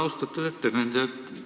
Austatud ettekandja!